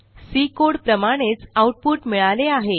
C code प्रमाणेच output मिळाले आहे